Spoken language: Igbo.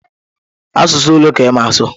Asụsụ ole ka ịma asụ?